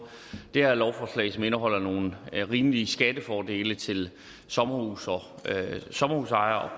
det her lovforslag som indeholder nogle rimelige skattefordele til sommerhusejere sommerhusejere